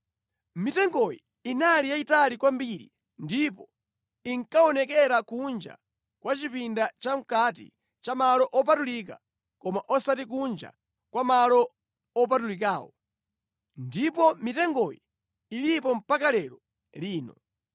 Mitengoyi inali yayitali kwambiri ndipo inkaonekera kunja kwa chipinda chamʼkati cha Malo Opatulika koma osati kunja kwa Malo Opatulikawo; ndipo mitengoyi ilipo mpaka lero lino.